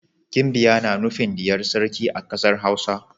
Ginbiya na nufin diyar sarki a kasar Hausa.